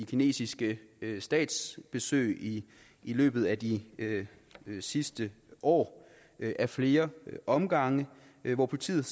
kinesiske statsbesøg i løbet af de sidste år ad flere omgange hvor politiet